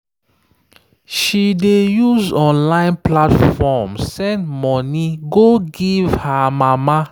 she dey use online platform send money go give her mama.